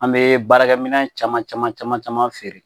An bɛ baarakɛminɛn caman caman caman caman feere